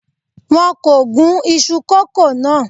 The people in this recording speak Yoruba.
Wọn kò gún iṣu kókò náà.